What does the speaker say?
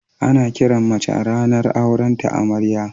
Ana kiran mace a ranan auren ta Amarya.